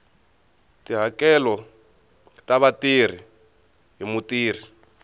tihakelo ta vatirhi hi mutirhi